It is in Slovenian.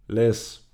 Les.